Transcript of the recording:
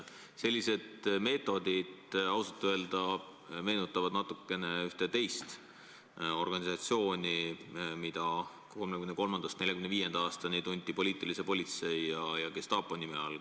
Sellised meetodid meenutavad ausalt öelda ühte teist organisatsiooni, mida aastail 1933–1945 tunti poliitilise politsei ja gestaapo nime all.